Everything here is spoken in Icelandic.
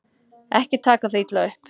Ekki taka það illa upp.